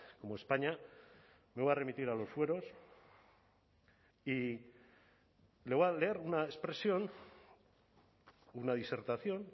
como españa me voy a remitir a los fueros y le voy a leer una expresión una disertación